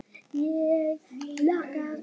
Ég hlakka til.